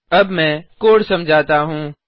अब मैं कोड समझाता हूँ